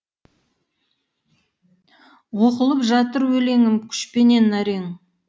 оқылып жатыр өлеңім күшпенен әрең